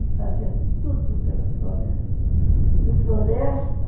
Ele fazia tudo pela floresta. E floresta